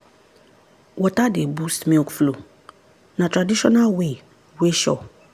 water dey boost milk flow na traditional way wey sure.